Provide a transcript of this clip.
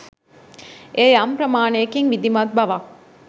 එය යම් ප්‍රමාණයකින් විධිමත් බවක්